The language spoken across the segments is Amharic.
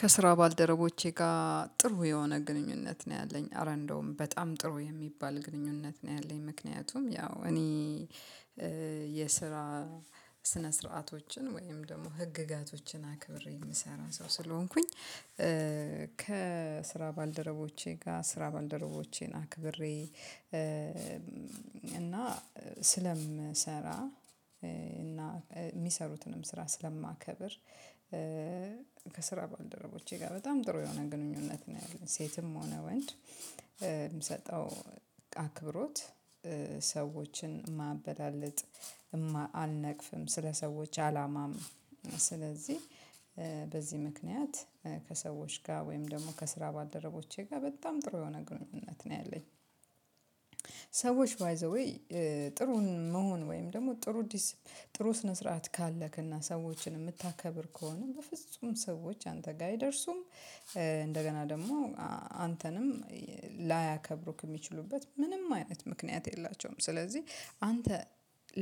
ከስራ ባልደረቸ ጋ ጥሩ የሆነ ግንኙነት ነው ያለኝ ኧረ እንደውም በጣም ጥሩ የሚባል ግንኙነት ነው ያለኝ ምክንያቱም ያው እኔ የስራ ስነ ስርዓቶችን ወይም ደግሞ ህግጋቶችን አክብሬ የምሰራ ሰው ስለሆንኩኝ ከስራ ባልደረቦቼ ጋር ስራ ባልደረቦቼን አክብሬ እና ስለምሰራ እና የሚሰሩትንም ስራ ስለማከብር ከስራ ባልደረቦቼ ጋር በጣም ጥሩ የሆነ ግንኙነት ነው ያለን ሴትም ሆነ ወንድ የምሰጠው አክብሮት ሰዎችን ማበላልጥ አልነቅፍም ስለ ሰዎች አላማም ስለዚህ በዚህ ምክንያት ከሰዎች ጋር ወይም ደግሞ ከስራ ባልደረቦቼ ጋር በጣም ጥሩ የሆነ ግንኙነት ነው ያለኝ። ሰዎች ባይ ዘ ዌይ ጥሩን መሆን ወይም ደግሞ ጥሩ ጥሩ ስነ ስርዓት ካለክና ሰዎችን የምታከብር ከሆነ በፍጹም ሰዎች አንተ ጋር አይደርሱም እንደገና ደግሞ አንተንም ላያከብሩክ የሚችሉበት ምንም አይነት ምክንያት የላቸውም ስለዚህ አንተ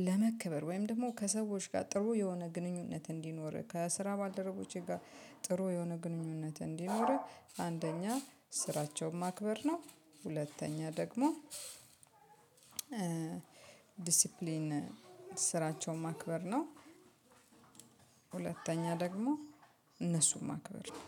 ለመክበር ወይም ደግሞ ከሰዎች ጋር ጥሩ የሆነ ግንኙነት እንዲኖርህ ከስራ ባልደረቦቼ ጋር ጥሩ የሆነ ግንኙነት እንዲኖርህ አንደኛ ስራቸውም ማክበር ነው ሁለተኛ ደግሞ ዲሲፕሊን ስራቸውን ማክበር ነው። ሁለተኛ ደግሞ እነሱን ማክበር ነው።